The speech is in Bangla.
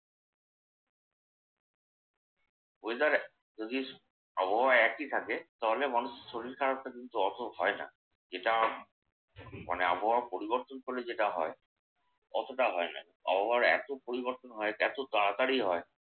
weather যদি আবহাওয়া একই থাকে তাহলে মানুষের শরীর খারাপটা কিন্তু অত হয় না। যেটা মানে আবহাওয়া পরিবর্তন করলে যেটা হয় অতটা হয় না। আবহাওয়ার এত পরিবর্তন হয়! এত তাড়াতাড়ি হয়।